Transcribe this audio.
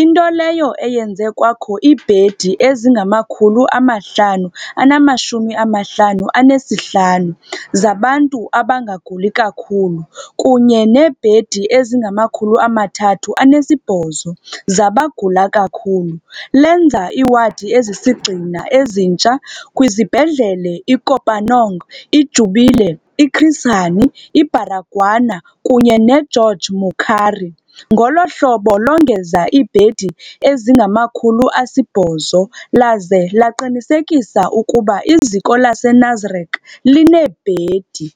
into leyo eyenze kwakho iibhedi ezingama-555 zabantu abangaguli kakhulu kunye neebhedi ezingama-308 zabagula kakhulu, lenza iiwadi ezisisigxina ezintsha kwizibhedlele i-Kopanong, i-Jubilee, i-Chris Hani Baragwanath kunye ne-George Mukhari, ngolo hlobo longeza iibhedi ezingama-800, laze laqinisekisa ukuba iziko lase-Nasrec lineebhedi.